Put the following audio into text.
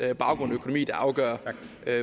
baggrund og økonomi der afgør